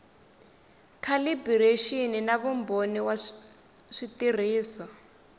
calibiraxini na vumbhoni wa switirhiso